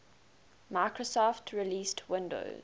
microsoft released windows